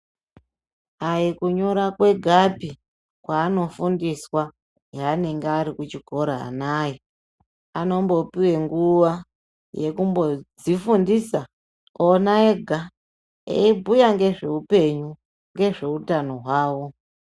Aikunyora kwegapi kwaaanofundiswa heanenga arikuchikora anaaya anombopiwe nguwa yekumbodzifundisa ona ega eibhuya ngezveupenyu, ngezveutano hwawo..